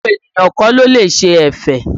Gbogbo ènìyàn kọ́ ló lè ṣe ẹ̀fẹ̀